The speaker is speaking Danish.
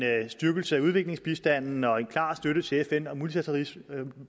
styrkelse af udviklingsbistanden og en klar støtte til fn og multilateralismen